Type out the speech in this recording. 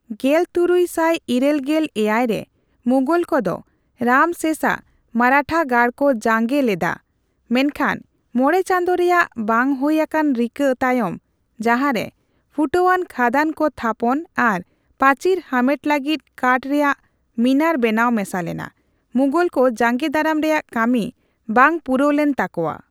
ᱜᱮᱞ ᱛᱩᱨᱩᱭ ᱥᱟᱭ ᱤᱨᱟᱹᱞ ᱜᱮᱞ ᱮᱭᱟᱭ ᱨᱮ, ᱢᱩᱜᱚᱞ ᱠᱚᱫᱚ ᱨᱟᱢᱥᱮᱥᱟᱜ ᱢᱟᱨᱟᱴᱷᱟ ᱜᱟᱲ ᱠᱚ ᱡᱟᱸᱜᱮ ᱞᱮᱫᱼᱟ, ᱢᱮᱱᱠᱷᱟᱱ ᱢᱚᱬᱮ ᱪᱟᱸᱫᱚ ᱨᱮᱭᱟᱜ ᱵᱟᱝᱦᱩᱭ ᱟᱠᱟᱱ ᱨᱤᱠᱟᱹ ᱛᱟᱭᱚᱢ, ᱡᱟᱦᱟᱨᱮ ᱯᱷᱩᱴᱟᱹᱣᱟᱱ ᱠᱷᱟᱫᱟᱱ ᱠᱚ ᱛᱷᱟᱯᱚᱱ ᱟᱨ ᱯᱟᱹᱪᱤᱨ ᱦᱟᱢᱮᱴ ᱞᱟᱹᱜᱤᱫ ᱠᱟᱴ ᱨᱮᱭᱟᱜ ᱢᱤᱱᱟᱨ ᱵᱮᱱᱟᱣ ᱢᱮᱥᱟ ᱞᱮᱱᱟ, ᱢᱩᱜᱚᱞ ᱠᱚ ᱡᱟᱸᱜᱮ ᱫᱟᱨᱟᱢ ᱨᱮᱭᱟᱜ ᱠᱟᱹᱢᱤ ᱵᱟᱝ ᱯᱩᱨᱟᱹᱣ ᱞᱮᱱ ᱛᱟᱠᱚᱣᱟ ᱾